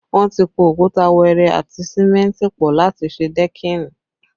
Wọn ti po òkúta wẹẹrẹ àti símẹ́ntì pọ láti ṣe dẹ́kìnì